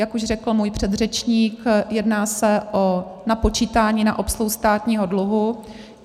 Jak už řekl můj předřečník, jedná se o napočítání na obsluhu státního dluhu.